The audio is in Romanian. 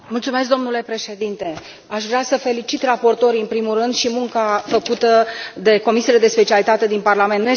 Domnule președinte, aș vrea să felicit raportorii, în primul rând, și munca făcută de comisiile de specialitate din Parlament.